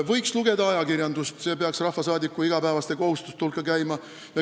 Võiks lugeda ajakirjandust, see peaks rahvasaadiku igapäevaste kohustuste hulka käima.